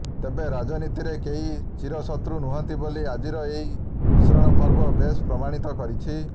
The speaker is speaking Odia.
ତେବେ ରାଜନୀତିରେ କେହି ଚିରଶତ୍ରୁ ନୁହନ୍ତି ବୋଲି ଆଜିର ଏହି ମିଶ୍ରଣ ପର୍ବ ବେଶ୍ ପ୍ରମାଣିତ କରିଛି